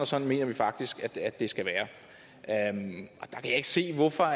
sådan mener vi faktisk det skal være jeg kan ikke se hvorfor